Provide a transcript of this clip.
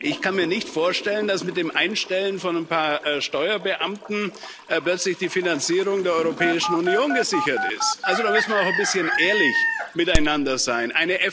Ich kann mir nicht vorstellen, dass mit dem Einstellen von ein paar Steuerbeamten plötzlich die Finanzierung der Europäischen Union gesichert ist. Da müssen wir auch ein bisschen ehrlich miteinander sein.